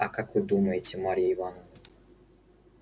а как вы думаете марья ивановна